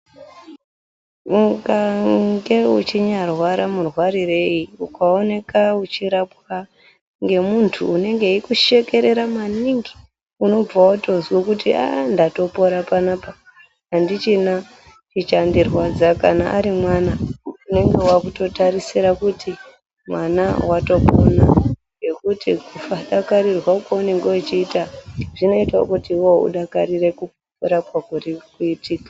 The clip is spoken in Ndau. Ungange uchinyaarwara murwarirei ukaoneka uchirapwa ngemuntu unenge eikushekerera maningi unobve watozwe kuti ah ndatopora panapa, handichina chichandirwadza. Kana ari mwana unenge waakutotarisira kuti mwana watopona ngekuti kadakarirwe kaunenga uchiita zvinoita kuti iwewe udakarire kurapwa kuri kuitika.